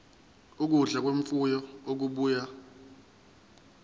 ukudla kwemfuyo okubuya